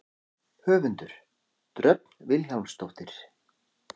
Höfundur: Dröfn Vilhjálmsdóttir.